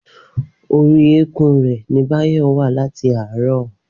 Orí eékún rẹ̀ ni Báyọ̀ wà láti àárọ̀